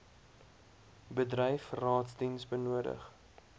bedryf raadsdiens benodig